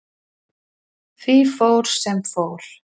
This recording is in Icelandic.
Því fór, sem fór.